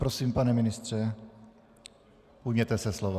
Prosím, pane ministře, ujměte se slova.